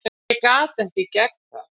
Ég gat ekki gert það.